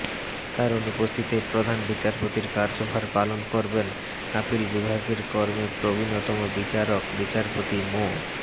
তার অনুপস্থিতিতে প্রধান বিচারপতির কার্যভার পালন করবেন আপিল বিভাগের কর্মে প্রবীণতম বিচারক বিচারপতি মো